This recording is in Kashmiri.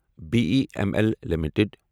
B E M L limited